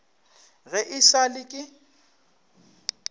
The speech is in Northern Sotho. ge e sa le ke